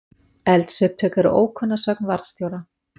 Eldsupptök eru ókunn að sögn varðstjóra